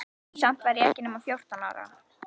Samt var ég ekki nema fjórtán ára.